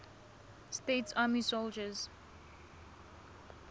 states army soldiers